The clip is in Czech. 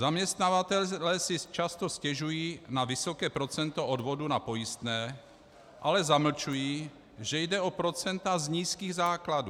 Zaměstnavatelé si často stěžují na vysoké procento odvodů na pojistné, ale zamlčují, že jde o procenta z nízkých základů.